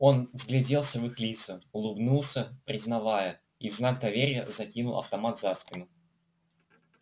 он вгляделся в их лица улыбнулся признавая и в знак доверия закинул автомат за спину